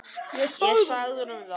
Ég sagði honum það.